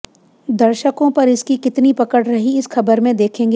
दर्शकों पर इसकी कितनी पकड़ रही इस खबर में देखेंगे